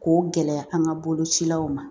K'o gɛlɛya an ka bolocilaw ma